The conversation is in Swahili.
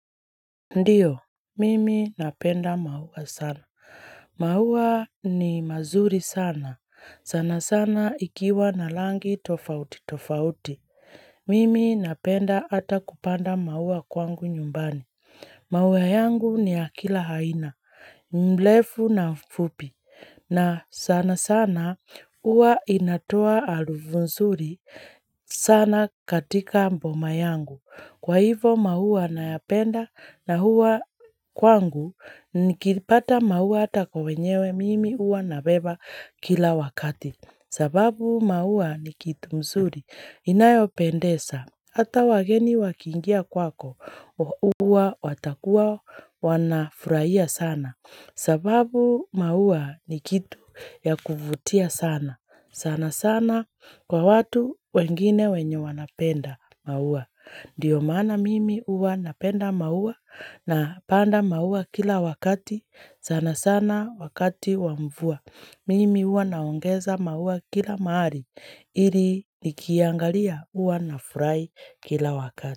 Ndiyo, mimi napenda maua sana. Mauwa ni mazuri sana. Sana sana ikiwa na rangi tofauti tofauti. Mimi napenda hata kupanda maua kwangu nyumbani. Maua yangu ni ya kila aina. Mrefu na mfupi. Na sana sana huwa inatoa harufu nzuri sana katika boma yangu. Kwa hivyo maua nayapenda na huwa kwangu nikipata maua hata kwa wenyewe mimi huwa nabeba kila wakati. Sababu maua ni kitu mzuri, inayopendeza, hata wageni wakiingia kwako huwa watakuwa wanafurahia sana. Sababu maua ni kitu ya kuvutia sana, sana sana kwa watu wengine wenye wanapenda maua. Ndiyo maana mimi huwa napenda maua napanda maua kila wakati, sana sana wakati wa mvua. Mimi huwa naongeza maua kila mahali ili nikiiangalia huwa nafurahi kila wakati.